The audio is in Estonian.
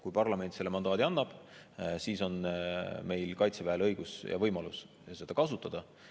Kui parlament mandaadi annab, siis on Kaitseväel õigus ja võimalus seda kasutada.